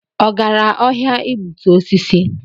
Ọ gara ọhịa igbutu osisi?